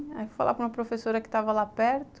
Aí eu fui falar para uma professora que estava lá perto.